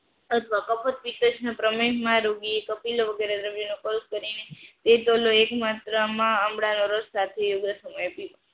કપાસ પ્રિતેશના બ્રહ્મા રોકીએ એક આપીને વગેરે દ્રવ્યને કંસ કરીને એક માત્રામાં આમળા આમળા નો રસ સાથે એ સમયે પીવું